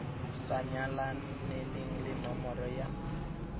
sa nyalaneleng le nomoro ya